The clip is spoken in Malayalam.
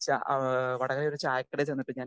സ്പീക്കർ 2 വടകരയിൽ ഒരു ചായക്കടയിൽ ചെന്നപ്പഴ് ഞാൻ